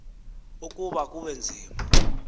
ukuba kube nzima